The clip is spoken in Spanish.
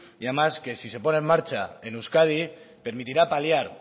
y además que si se pone en marcha en euskadi permitirá paliar